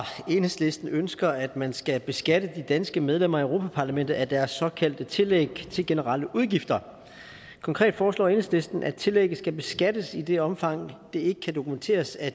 enhedslisten ønsker at man skal beskatte de danske medlemmer af europa parlamentet af deres såkaldte tillæg til generelle udgifter konkret foreslår enhedslisten at tillægget skal beskattes i det omfang det ikke kan dokumenteres at